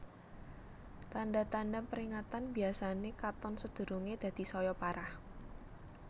Tanda tanda peringatan biyasane katon sedurunge dadi saya parah